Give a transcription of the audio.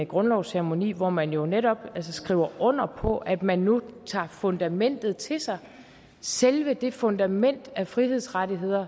grundlovsceremoni hvor man jo netop skriver under på at man nu tager fundamentet til sig selve det fundament af frihedsrettigheder